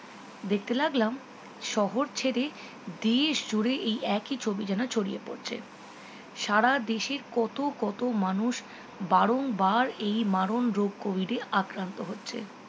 দেখতে লাগলাম শহর ছেড়ে দেশ জুড়ে এই একই ছবি যেন ছড়িয়ে পড়েছে সারা দেশে কত কত মানুষ বারং বার এই মারণ রোগ covid এ আক্রান্ত হচ্ছে